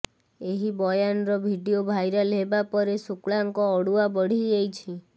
ଏହି ବୟାନର video viral ହେବାପରେ ଶୁକ୍ଳାଙ୍କ ଅଡ଼ୁଆ ବଢ଼ିଯାଇଛି